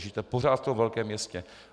Žijete pořád v tom velkém městě.